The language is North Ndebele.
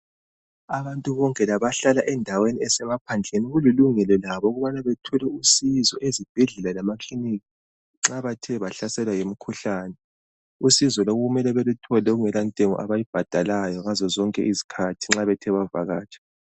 Abantu bonke labahlala endaweni esemaphandleni kulilungelo labo ukubana bethole usizo ezibhedlela lemakilinika nxa bethe bahlaselwa yimikhuhlane. Usizo lolu mele beluthole kungelantengo abayibhadalayo ngazozonke izikhathi nxa bethe bavakatsha.